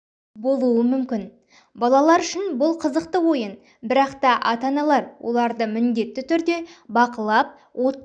болуы мүмкін балалар үшін бұл қызықты ойын бірақ та ата-аналар оларды міндетті түрде бақылап отпен